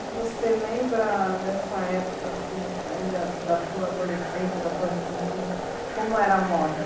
E você lembra dessa época, ainda da sua adolescência, da sua juventude, como era a moda?